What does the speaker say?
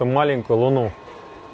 там маленькую луну